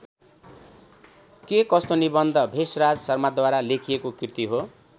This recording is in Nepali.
के कस्तो निबन्ध भेषराज शर्माद्वारा लेखिएको कृति हो।